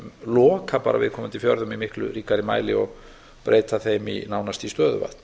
loka bara viðkomandi fjörðum í miklu ríkari mæli og breyta þeim nánast í stöðuvötn